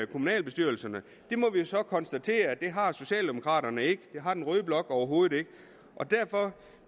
kommunalbestyrelserne vi må så konstatere at det har socialdemokraterne ikke og det har den røde blok overhovedet ikke derfor